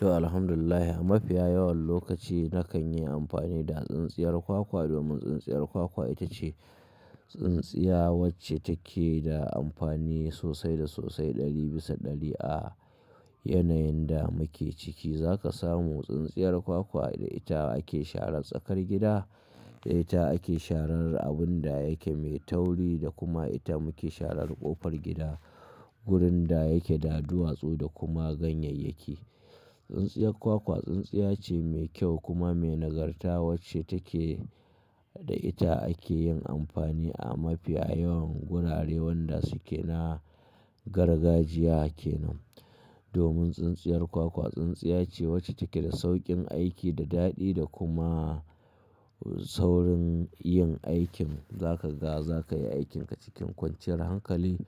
To alhamdulillahi, a mafiya yawan lokaci, nakan yi amfani da tsintsiyar kwakwa, domin tsintsiyar kwakwa ita ce tsintsiya wacce take da amfani sosai da sosai, ɗari bisa ɗari a yanayin da muke ciki. Za ka samu tsintsiyar kwakwa da ita ake sharan tsakar gida, da ita ake sharar abun da yake mai tauri da kuma ita muke sharar ƙofar gida, gurin da yake da duwatsu da kuma ganyayyaki. Tsintsiyar kwakwa tsintsiya ce mai kyau kuma mai nagarta wacce take da ita ake yin amfani a mafiya yawan gurare wanda suke na gargajiya kenan. Domin tsintsiyar kwakwa tsintsiya ce wacce take da sauƙin aiki da daɗi da kuma saurin yin aikin. Za ka ga za ka yi aikinka cikin kwanciyar hankali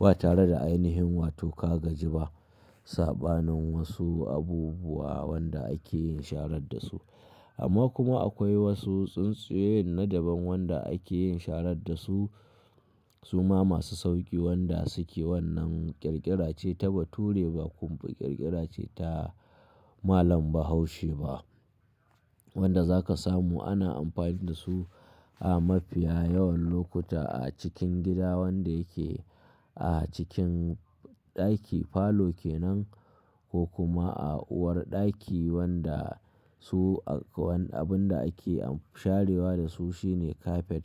ba tare da ainihin wato ka gaji ba. Saɓanin wasu abubuwa wanda ake yin sharar da su. Amma kuma akwai wasu tsintsiyoyin na daban wanda ake yin shara da su. Su ma masu sauƙi wanda suke wannan ƙirƙira ce ta Bature, ba kuma, ƙirƙira ce ta malam ba haushi ba wanda za ka samu ana amfani da su, a mafiya yawan lokuta a cikin gida wanda yake a cikin ɗaki, falo kenan, ko kuma a uwarɗaki wanda, su wani abun da ake sharewa da su shine kafet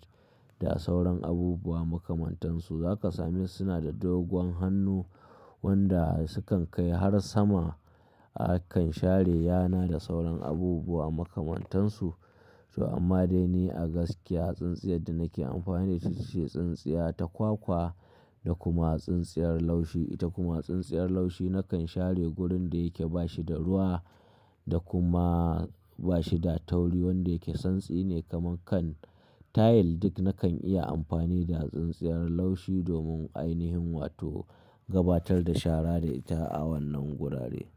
da sauran abubuwa makamantansu. Za ka same suna da dogon hannu, wanda sukan kai har sama. Akan share yana da sauran abubuwa makamantansu. To amma dai ni a gaskiya tsintsiyar da nake amfani da ita, ita ce tsintsiya ta kwakwa da kuma tsintsiyar laushi. Ita kuma tsintsiyar laushi nakan share gurin da yake ba shi da ruwa, da kuma ba shi da tauri wanda yake santsi ne kamar kan, tayil, duk nakan iya amfani da tsintsiyar laushi domin ainihin wato, gabatar da shara da ita a wannan gurare.